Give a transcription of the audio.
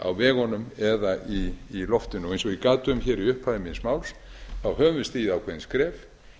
á vegunum eða í loftinu eins og ég gat um hér í upphafi míns máls höfum við stigið ákveðin skref